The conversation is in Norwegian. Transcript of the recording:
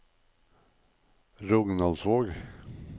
Rognaldsvåg